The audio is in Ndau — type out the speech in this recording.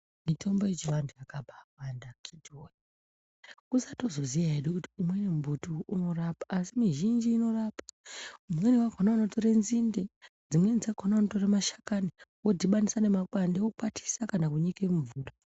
Mitombo yechivantu yakaba wanda akiti woye kusatoziya hedu kuti umweni mumbuti unorapa asii mizhinji inorapa imweni yakona unotora nzinde dzimweni dzakona unotora mashakani wodhibanisa nemakwande wokwatisa kana kunyika mumvura.